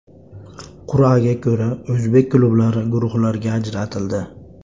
Qur’aga ko‘ra o‘zbek klublari guruhlarga ajratildi.